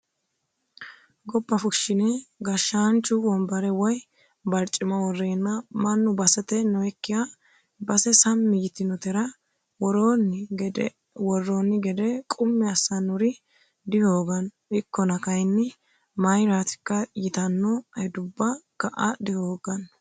Gobba fushine gashshaanchu wombare woyi barcima worreenna mannu basete noyikkiha base sammi yitinotera worooni gede qummi assanori dihoogano ikkonna kayinni mayratikka ytano hedubba ka"a dihoogano.